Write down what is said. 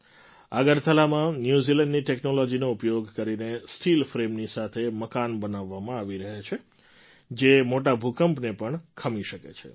અગરતલામાં ન્યૂઝીલેન્ડની ટૅક્નૉલૉજીનો ઉપયોગ કરીને સ્ટીલ ફ્રેમની સાથે મકાન બનાવવામાં આવી રહ્યા છે જે મોટા ભૂંકપને પણ ખમી શકે છે